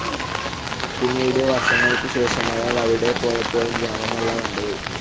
പീന്നീട് വർഷങ്ങൾക്കു ശേഷം അയാൾ അവിടെ പോയപ്പോൾ ഗ്രാമമല്ല കണ്ടത്.